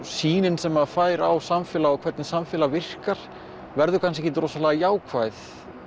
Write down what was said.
sýnin sem maður fær á samfélag og hvernig samfélag virkar verður kannski ekkert rosalega jákvæð